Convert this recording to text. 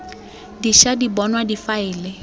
di ša di bonwa difaele